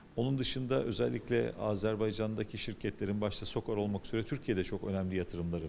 Onun xaricində xüsusilə Azərbaycandakı şirkətlərin, başda SOCAR olmaqla, Türkiyədə çox önəmli sərmayələri var.